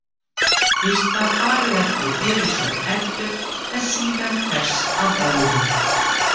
Fyrst var farið eftir fyrirsögn Erlu en síðan hvers af öðrum.